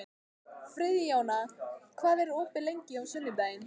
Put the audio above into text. Friðjóna, hvað er opið lengi á sunnudaginn?